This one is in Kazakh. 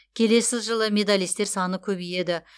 келесі жылы медалистер саны көбейеді